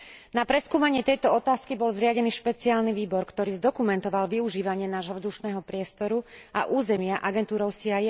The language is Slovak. Na preskúmanie tejto otázky bol zriadený špeciálny výbor, ktorý zdokumentoval využívanie nášho vzdušného priestoru a územia agentúrou CIA.